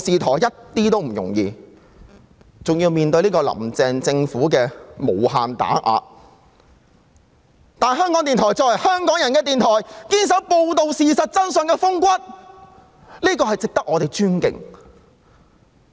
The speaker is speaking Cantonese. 況且，還要面對"林鄭"政府的無限打壓，但香港電台作為香港人的電台，能堅守報道事實真相的風骨，實在值得我們尊敬。